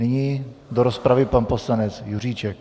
Nyní do rozpravy pan poslanec Juříček.